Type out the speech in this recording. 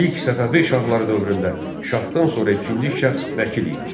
İlk Səfəvi şahları dövründə şahdan sonra ikinci şəxs vəkil idi.